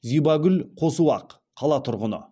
зибагүл қосуақ қала тұрғыны